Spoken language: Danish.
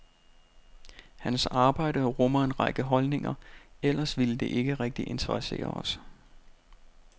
Hans arbejde rummer en række holdninger, ellers ville det ikke rigtig interessere os.